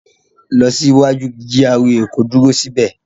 Lọ sí iwaju GRA ko dúró sí bẹ̀.